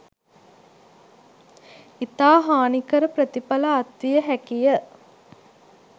ඉතා හානිකර ප්‍රතිඵල අත් විය හැකි ය.